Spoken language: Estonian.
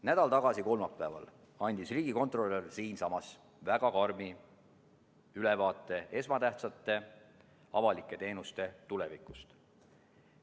Nädal tagasi kolmapäeval andis riigikontrolör siinsamas väga karmi ülevaate esmatähtsate avalike teenuste tulevikust.